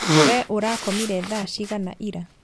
Wee ũrakomire thaa cigana ira?